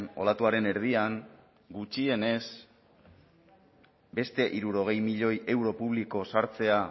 olatuaren erdian gutxienez beste hirurogei milioi euro publiko sartzea